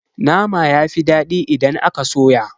Nama yafi dadi idan aka soya.